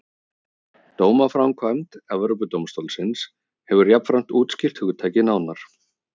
Dómaframkvæmd Evrópudómstólsins hefur jafnframt útskýrt hugtakið nánar.